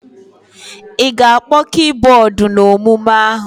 Ị ga-akpọ kibọọdụ n'omume ahụ!